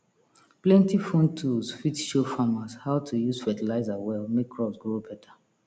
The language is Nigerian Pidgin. plenty phone tools fit show farmers how to use fertilizer well make crops grow better